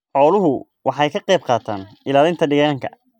Xooluhu waxay ka qayb qaataan ilaalinta deegaanka.